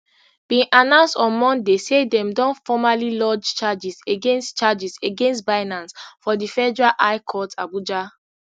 bin announce on monday say dem don formally lodge charges against charges against binance for di federal high court abuja